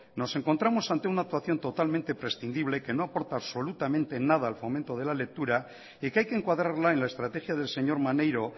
nos encontramos ante una actuación totalmente prescindible que no aporta absolutamente nada al fomento de la lectura y que hay que encuadrarla en la estrategia del señor maneiro